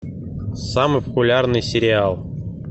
самый популярный сериал